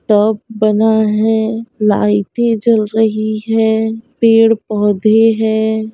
Top बना है लाइटे जल रही हैं पेड़-पौधे हैं।